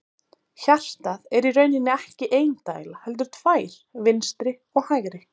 Hjartað er í rauninni ekki ein dæla heldur tvær, vinstri og hægri.